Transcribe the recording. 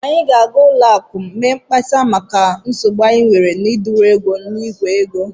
Anyị ga-aga ụlọakụ m mee mkpesa maka nsogbu anyị nwere ịdọrọ ego n'ìgwè ego